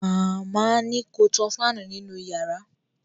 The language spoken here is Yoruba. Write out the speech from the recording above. Màmá ni ko tan fáànù nínú yàrá